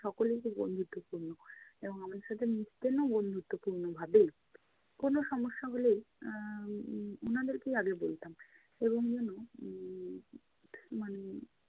সকলেই খুব বন্ধুত্বপূর্ণ আমাদের সাথে মিশতেনও বন্ধুত্বপূর্ণ ভাবেই। কোনো সমস্যা হলেই উম এর উনাদেরকেই আগে বলতাম এবং জানো উম মানে